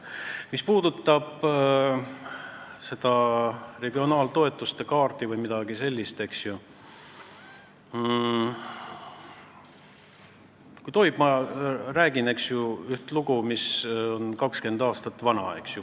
Mis puudutab seda regionaaltoetuste kaarti vms, siis kui tohib, ma räägin ühe 20 aastat vana loo.